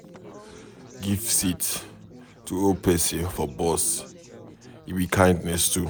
Give seat to old pesin for bus, e be kindness too.